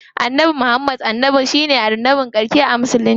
Annabi Muhammad ne annabin ƙarshe a musulunci.